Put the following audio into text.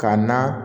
Ka na